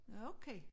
Okay